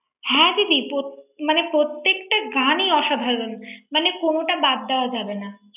হ্যাঁ দিদি প্রত্যেক মানে, প্রত্যেকটা গানই অসাধারণ মানে কোনটা বাদ দেয়া যাবেনা ৷